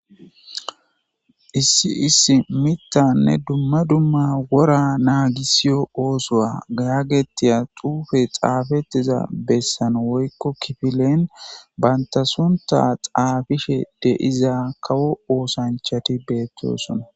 Issi issi miththanne issi issi wora naagisiya oothuwa yagetetiya xuufe xaafetiya bessan woyko kifilen banta suntha xaafishe de'za kawo oothanchati beetosona.